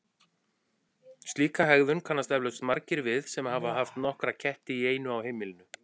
Slíka hegðun kannast eflaust margir við sem hafa haft nokkra ketti í einu á heimilinu.